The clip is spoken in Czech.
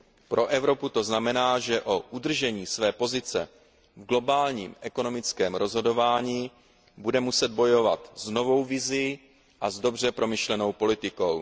Pro Evropu to znamená, že o udržení své pozice v globálním ekonomickém rozhodování bude muset bojovat s novou vizí a s dobře promyšlenou politikou.